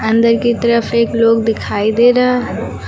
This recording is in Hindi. अंदर की तरफ एक लोग दिखाई दे रहा है।